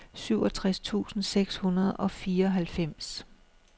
syvogtres tusind seks hundrede og fireoghalvfems